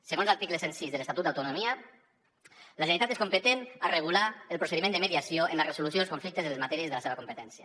segons l’article cent i sis de l’estatut d’autonomia la generalitat és competent per regular el procediment de mediació en la resolució dels conflictes de les matèries de la seva competència